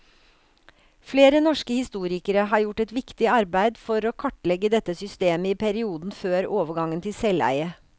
Flere norske historikere har gjort et viktig arbeid for å kartlegge dette systemet i perioden før overgangen til selveie.